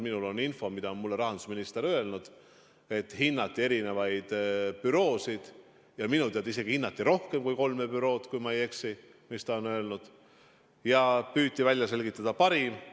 Minul on see info, mida rahandusminister on mulle öelnud, et hinnati erinevaid büroosid, ja minu teada hinnati isegi rohkem kui kolme bürood, kui ma ei eksi, ja püüti välja selgitada parim.